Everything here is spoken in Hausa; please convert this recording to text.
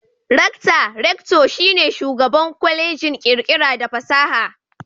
Rakta (Rector) shi ne Shugaban Kwallejin kirkira da fasaha.